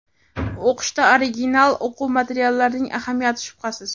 O‘qitishda original o‘quv materiallarining ahamiyati shubhasiz.